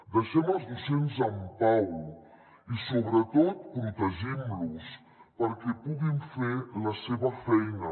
deixem els docents en pau i sobretot protegim los perquè puguin fer la seva feina